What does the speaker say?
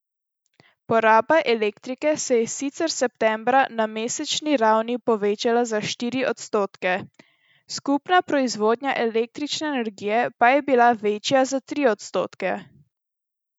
Poraba elektrike se je sicer septembra na mesečni ravni povečala za štiri odstotke, skupna proizvodnja električne energije pa je bila večja za tri odstotke.